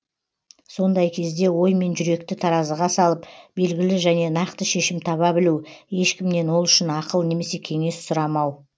сондай кезде оймен жүректі таразыға салып белгілі және нақты шешім таба білу ешкімнен ол үшін ақыл немесе кеңес сұрамау